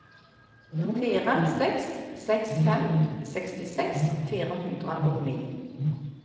fire seks seks fem sekstiseks fire hundre og ni